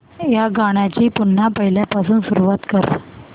या गाण्या ची पुन्हा पहिल्यापासून सुरुवात कर